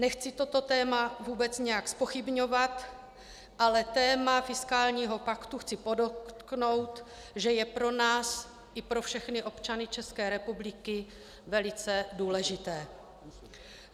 Nechci toto téma vůbec nějak zpochybňovat, ale téma fiskálního paktu, chci podotknout, že je pro nás i pro všechny občany České republiky velice důležité.